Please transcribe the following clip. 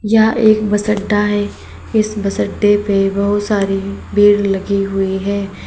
यह एक बस अड्डा है इस बस अड्डे पे बहुत सारी पेड़ लगी हुई है।